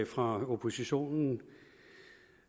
fra oppositionen